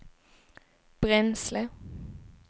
bränsle